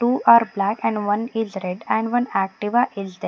Two are black and one is red and one Activa is there.